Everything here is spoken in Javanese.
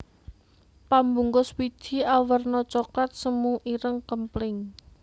Pambungkus wiji awerna coklat semu ireng kempling